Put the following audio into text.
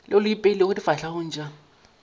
leo le ipeilego difahlegong tša